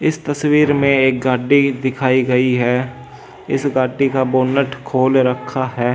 इस तस्वीर में एक गाड़ी दिखाई गई है इस गाड़ी का बोनट खोल रखा है।